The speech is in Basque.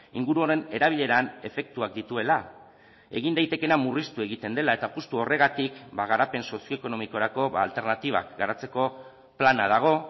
inguru honen erabileran efektuak dituela egin daitekeena murriztu egiten dela eta justu horregatik garapen sozioekonomikorako alternatibak garatzeko plana dago